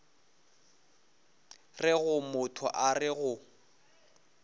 rego motho a re go